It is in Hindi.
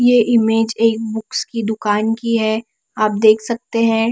ये ईमेज एक बुक्स कि दुकान की है आप देख सकते है।